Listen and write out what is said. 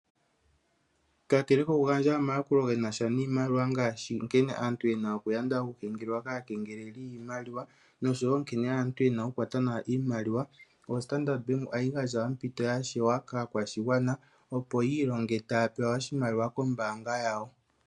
Kakele kokugandja omayakulo ge na sha niimaliwa ngaashi nkene aantu ye na okuyanda okukengelelwa kaakengeleli yiimaliwa, nosho wo nkene aantu ya pumbwa okukwata nawa iimaliwa, oStandard Bank ohayi gandja ompito ya shewa kaakwashigwana opo yi ilonge taya pewa oshimaliwa kombaanga yawo.